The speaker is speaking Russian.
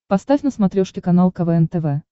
поставь на смотрешке канал квн тв